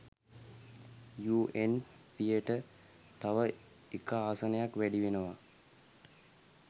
යූඑන්පියට තව එක ආසනයක් වැඩි වෙනවා.